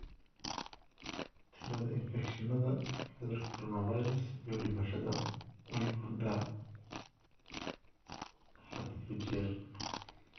Tirada infekshannada cudurka coronavirus iyo dhimashadu way korodhaa had iyo jeer.